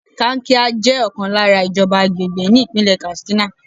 Kankia jẹ́ ọ̀kan lára ìjọba àgbègbè ní Ìpínlẹ̀ Katsina.